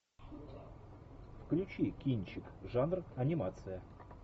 включи кинчик жанр анимация